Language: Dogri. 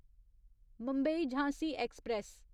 मुंबई झांसी ऐक्सप्रैस